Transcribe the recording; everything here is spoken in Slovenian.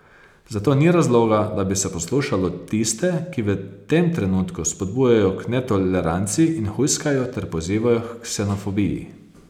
Zato ni razloga, da bi se poslušalo tiste, ki v tem trenutku spodbujajo k netoleranci in hujskajo ter pozivajo h ksenofobiji.